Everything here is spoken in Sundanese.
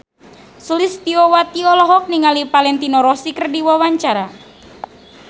Sulistyowati olohok ningali Valentino Rossi keur diwawancara